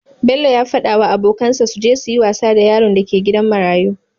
Bello yafada wa abokan sa suje suyi wasa da yaron da ke gidan marayu